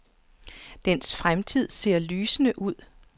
Dens fremtid ser lysende ud.